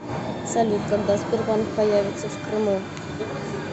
салют когда сбербанк появится в крыму